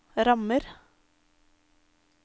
rammer